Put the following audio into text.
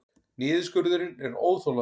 Niðurskurðurinn er óþolandi